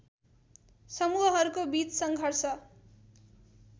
समूहहरूको बीच सङ्घर्ष